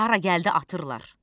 Hara gəldi atırlar.